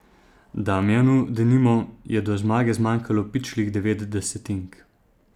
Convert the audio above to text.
Damjanu, denimo, je do zmage zmanjkalo pičlih devet desetink.